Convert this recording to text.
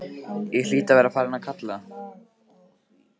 Ég hlýt að vera farin að kalka,